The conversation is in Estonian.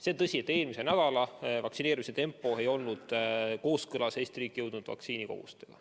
See on tõsi, et eelmise nädala vaktsineerimise tempo ei olnud kooskõlas Eesti riiki jõudnud vaktsiinikogusega.